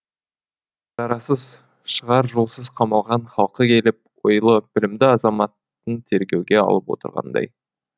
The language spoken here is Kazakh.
шарасыз шығар жолсыз қамалған халқы келіп ойлы білімді азаматын тергеуге алып отырғандай